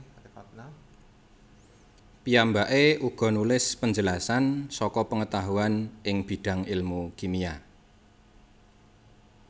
Piyambaké uga nulis penjelasan saka pengetahuan ing bidang ilmu kimia